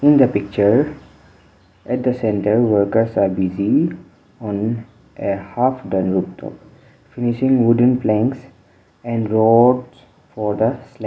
in the picture at the centre workers are busy on a half done rooftop finishing wooden planks and roads for the slab.